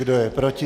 Kdo je proti?